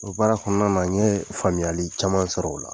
O baara kɔnɔna na n ye faamuyali caman sɔrɔ o la.